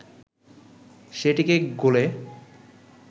সেটিকে গোলে